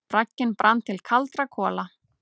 Bragginn brann til kaldra kola.